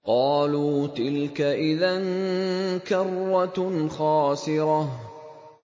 قَالُوا تِلْكَ إِذًا كَرَّةٌ خَاسِرَةٌ